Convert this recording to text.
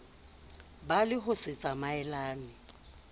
ba le ho se tsamaelane